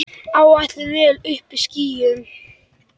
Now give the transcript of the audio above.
Áætluð vél uppí skýjum.